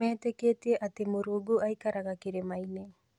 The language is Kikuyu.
Meetĩkĩtie atĩ Mũrungu aikaraga kĩrĩma-ini